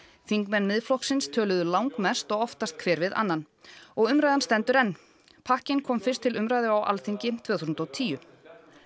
þingmenn Miðflokksins töluðu langmest og oftast hver við annan og umræðan stendur enn pakkinn kom fyrst til umræðu á Alþingi tvö þúsund og tíu